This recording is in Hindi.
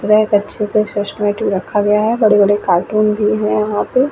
रैक अच्छे से सिस्टमेटिक रखा गया है बड़े-बड़े कार्टून भी है वहाँ पे।